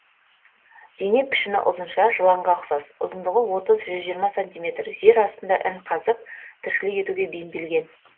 дене пішіні ұзынша жыланға ұқсас ұзындығы отыз жүз жиырма сантиметр жер астында ін қазып тіршілік етуге бейімделген